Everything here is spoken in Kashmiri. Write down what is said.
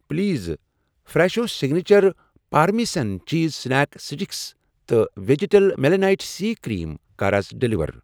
Please fresh signature parmesan cheese snack sticks تہٕ وٮ۪جِٹل مٮ۪لانایٹ سی کرٛیٖم کَر آز ڈیلیور۔